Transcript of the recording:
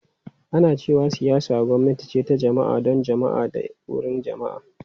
Ana cewa siyasa gwamnati ce ta jama’a, don jama’a da ta wurin jama’a.